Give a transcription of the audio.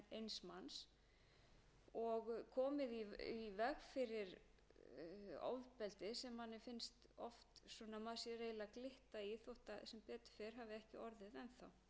sem kom upp í janúar tvö þúsund og níu getur hæglega komið upp á ný brýnt er því að til séu úrræði í íslenskri löggjöf sem geta